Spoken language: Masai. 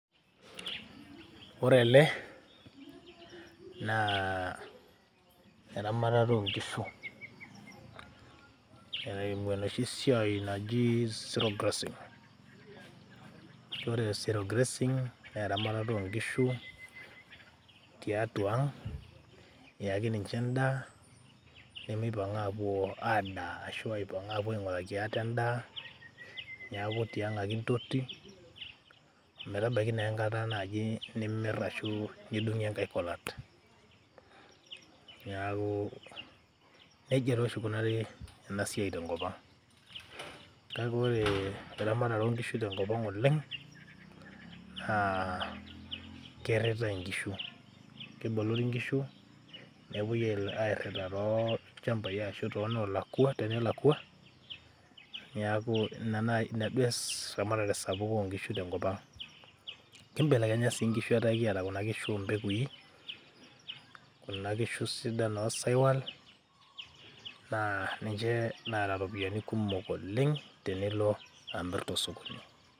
ore ele naa eramatata onkishu eimu enoshi siai naji zero grazing ore zero grazing naa eramatata onkishu tiatua ang iyaki ninche endaa nemeipang apuo adaa ashu aipang apuo aing'uraki ate endaa niaku tiang ake intoti ometabaiki naa enkata naaji nimirr ashu nidung'ie enkae kolat niaku nejia taa oshi ikunari ena siai tenkop ang kake ore eramatare onkishu tenkop ang oleng naa kirritae inkishu kebolori inkishu nepuoi airrita tolchambai ashu tonolakua, tenelakua niaku ina naaji inaduo eramatare sapuk onkishu tenkop ang, kimbelelekenya sii inkishu etaa ekiata kuna kishu ompekui kuna kishu sidan osaiwal naa ninche naata iropiyiani kumok oleng tenilo amirr tosokoni.